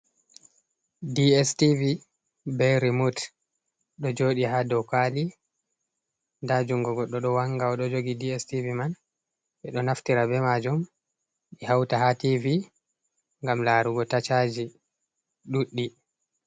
DS tivi be rimod ɗo joɗi ha dow kwali, nda juungo goɗɗo ɗo wanga o ɗo jogi DS tivi man. Ɓe ɗo naftira be majum ɓe hauta haa tivi ngam laarugo tashaji ɗuɗɗi.